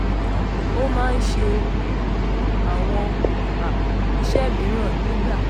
ó máa ń ṣe um àwọn um iṣẹ mìíràn nígbà